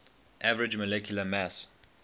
average molecular mass